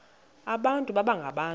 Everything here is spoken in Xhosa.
abantu baba ngabantu